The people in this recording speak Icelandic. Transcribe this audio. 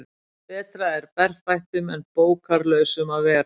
Betra er berfættum en bókarlausum að vera.